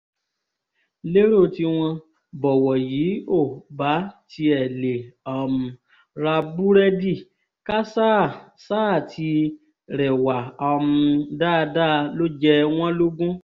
lérò tiwọn bọ̀wọ̀ yìí ò bá tiẹ̀ lè um ra búrẹ́dì ká ṣáà ṣáà ti rẹwà um dáadáa ló jẹ wọ́n lógún